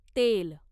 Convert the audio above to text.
तेल